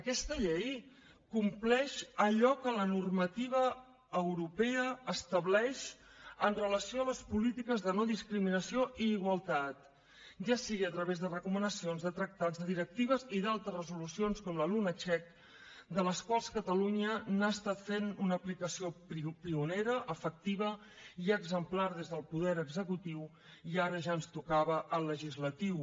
aquesta llei compleix allò que la normativa europea estableix amb relació a les polítiques de no discriminació i igualtat ja sigui a través de recomanacions de tractats de directives i d’altres resolucions com la lunacek de les quals catalunya n’ha estat fent una aplicació pionera efectiva i exemplar des del poder executiu i ara ja ens tocava al legislatiu